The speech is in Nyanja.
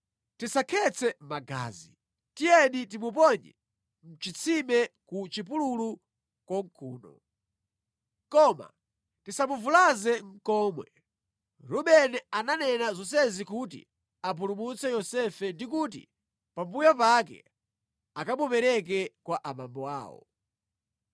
tisakhetse magazi. Tiyeni timuponye mʼchitsime ku chipululu konkuno. Koma tisamuvulaze nʼkomwe. Rubeni ananena zonsezi kuti apulumutse Yosefe ndi kuti pambuyo pake akamupereke kwa abambo awo.”